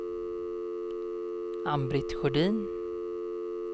Ann-Britt Sjödin